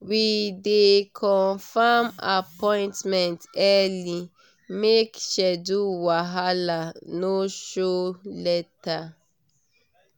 we dey confirm appointment early make schedule wahala no show later.